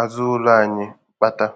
azụ ụlọ anyị kpata.